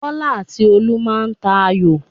Bọ́lá àti Olú má a tà ayò.